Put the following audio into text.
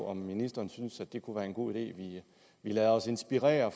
om ministeren synes det kunne være en god idé at vi lader os inspirere